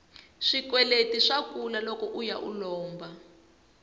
swikweleti swa kula loko uya u lomba